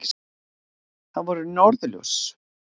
Það voru norðurljós!